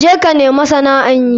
Je ka nemi sana'an yi.